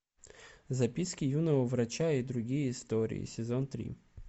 записки юного врача и другие истории сезон три